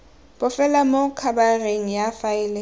bofelo mo khabareng ya faele